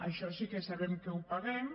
això sí que sabem que ho paguem